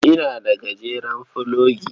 Ina da gajeren fulogi.